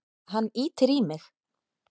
Hann ýtir í mig.